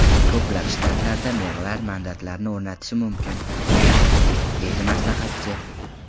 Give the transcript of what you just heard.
Ko‘plab shtatlarda merlar mandatlarni o‘rnatishi mumkin”, deydi maslahatchi.